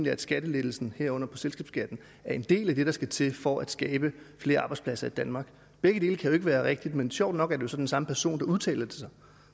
at skattelettelsen herunder på selskabsskatten er en del af det der skal til for at skabe flere arbejdspladser i danmark begge dele kan jo ikke være rigtigt men sjovt nok er det så den samme person udtalt sig